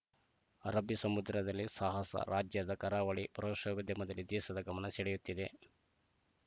ಅರಬ್ಬೀ ಸಮುದ್ರದಲ್ಲಿ ಸಾಹಸ ರಾಜ್ಯದ ಕರಾವಳಿ ಪ್ರದೋಶವಿದ್ಯಮದಲ್ಲಿ ದೇಶದ ಗಮನ ಸೆಳೆಯುತ್ತಿದೆ